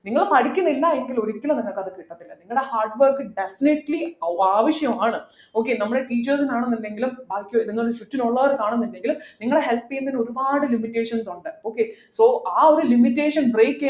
നിങ്ങൾ പഠിക്കുന്നില്ല എങ്കിലും ഒരിക്കലും നിങ്ങക്കത് അത് കിട്ടത്തില്ല നിങ്ങടെ hardwork definitely ആവശ്യമാണ് okay നമ്മൾ teachers നാണെന്നുണ്ടെങ്കിലും ബാക്കി നിങ്ങക്ക് ചുറ്റും ഉള്ളവരാണെന്നുണ്ടെങ്കിലും നിങ്ങളെ help ചെയ്യുന്നതിൽ ഒരുപാട് limitations ഉണ്ട് okay so ആ ഒരു limitation break ചെയ്ത്